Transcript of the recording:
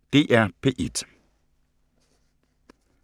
DR P1